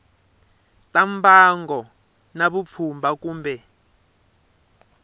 ta mbango na vupfhumba kumbe